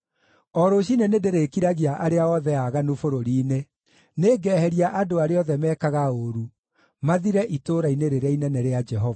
O rũciinĩ nĩndĩrĩkiragia arĩa othe aaganu bũrũri-inĩ; nĩngeheria andũ arĩa othe mekaga ũũru mathire itũũra-inĩ rĩrĩa inene rĩa Jehova.